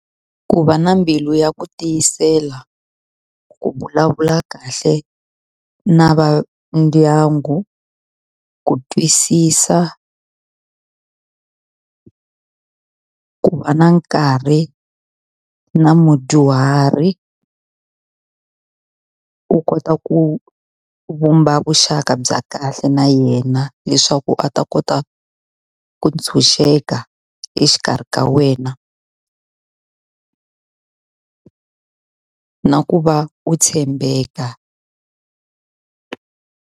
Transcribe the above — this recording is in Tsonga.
Ku va na mbilu ya ku tiyisela, ku vulavula kahle na va ndyangu, ku twisisa. Ku va na nkarhi na mudyuhari u kota ku vumba vuxaka bya kahle na yena, leswaku a ta kota ku ntshunxeka exikarhi ka wena na ku va u tshembeka.